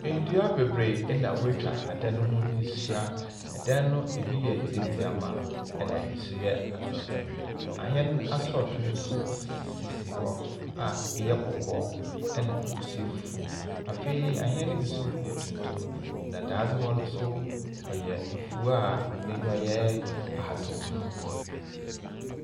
Ndua bebree na watwa adan ho ahyia. Ɛdan no, ebi yɛ ntiatia na ebi nso yɛ atenten. Ahɛn asɔto nso sisi hɔ a ebi yɛ kɔkɔɔ ɛna ebi nso yɛ fufu. Afei ahɛn no bi nso yɛ tuntum. Na dadzewa no nso, ɔyɛ afuw a n'aniwa yɛ ahataw mono.